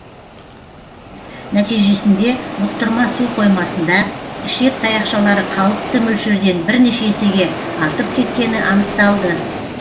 нәтижесінде бұқтырма су қоймасында ішек таяқшалары қалыпты мөлшерден бірнеше есеге артып кеткені анықталды